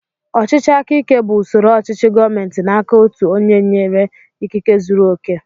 Ọchịchị aka ike bú usoro ochichi gọọmenti n'aka ọtu ónyé enyere ikike zụrụ oké.